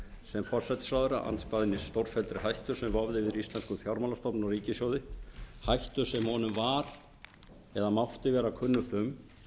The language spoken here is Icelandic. sem forsætisráðherra andspænis stórfelldri hættu sem vofði yfir íslenskum fjármálastofnunum og ríkissjóði hættu sem honum var eða mátti vera kunnugt um